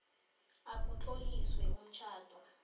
a kutloliswe umtjhado